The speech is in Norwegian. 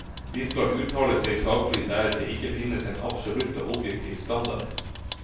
De skal uttale seg saklig der det ikke finnes en absolutt og objektiv standard.